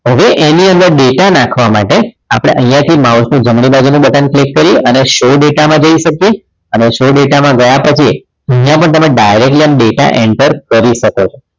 હવે એની અંદર data નાખવા માટે અહીંયા થી mouse નું જમણી બાજુનું button click કરીએ અને show data માં જઈ શકીએ અને show data માં ગયા પછી અહીંયા પણ તમે directly data enter કરી શકો છો